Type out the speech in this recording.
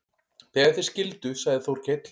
Þegar þeir skildu sagði Þórkell